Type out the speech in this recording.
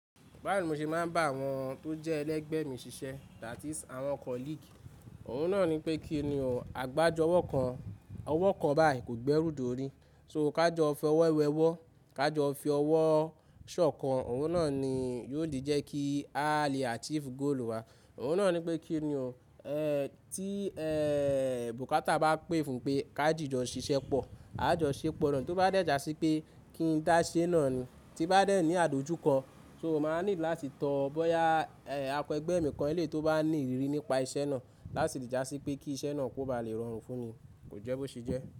Báwo ni mo ṣe máa ń bá àwọn tó jẹ́ ẹlẹgbẹ́ mi ṣiṣẹ́ that is àwọn colleague? Òhun náà ni pé kí ni o, àgbájọ ọwọ́ kan, ọwọ́ kan báyìí kò gbẹ́rù dori, so ká jọ fi ọwọ́ wẹ́wọ́, ká jọ fi ọwọ́ ṣọ̀kan, òhun náà ni yóò di jẹ́ kí a lè achieve goal wa. Òhun náà ni pé kí ni o, eh tí eh bokata bá pè fún pé ká jìjọ ṣiṣẹ́ pọ̀, a jọ ṣepọ náà tí ó bá dẹ̀jà sí pé kí n dáṣẹ́ náà tí bá dẹ̀ ní àdojúkan. So máa nílò láti tọ bọ́yá akẹgbẹ́ mi kọ́ni lè tó bá ní ìrírí nípa iṣẹ́ náà láti dàjà sí pé kí iṣẹ́ náà kó ba lè rọrùn fún mi, kò jẹ́ bó ṣe jẹ́.